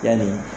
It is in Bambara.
Yanni